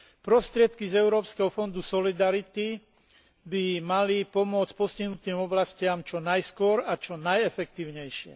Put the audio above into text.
Prostriedky z Európskeho fondu solidarity by mali pomôcť postihnutým oblastiam čo najskôr a čo najefektívnejšie.